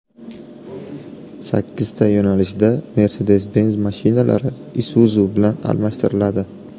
Sakkizta yo‘nalishda Mercedes-Benz mashinalari Isuzu bilan almashtiriladi.